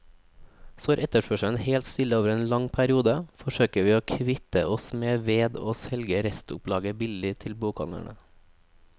Står etterspørselen helt stille over en lang periode, forsøker vi å kvitte oss med ved å selge restopplaget billig til bokhandlene.